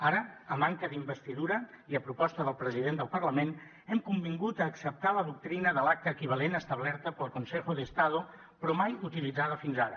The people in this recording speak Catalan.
ara a manca d’investidura i a proposta del president del parlament hem convingut a acceptar la doctrina de l’acta equivalent establerta pel consejo de estado però mai utilitzada fins ara